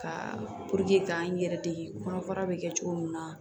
Ka k'an yɛrɛ dege kɔnɔbara bɛ kɛ cogo min na